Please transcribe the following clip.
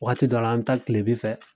Wagati dɔ la an bɛ taa kileben fɛ.